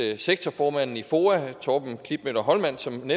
sektorformanden i foa torben klitmøller hollmann som